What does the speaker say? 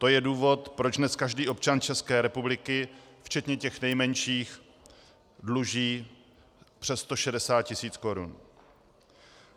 To je důvod, proč dnes každý občan České republiky včetně těch nejmenších dluží přes 160 tisíc korun.